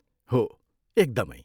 हो, एकदमै!